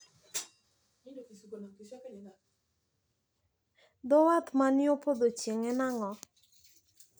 Dho wath man yo podho chieng` en ang`o?